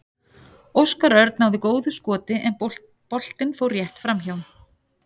Óskar Örn náði góðu skoti en boltinn fór rétt framhjá.